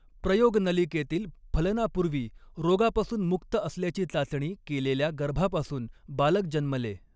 प्रयोगनलिकेतील फलनापूर्वी रोगापासून मुक्त असल्याची चाचणी केेलेल्या गर्भापासून बालक जन्मले.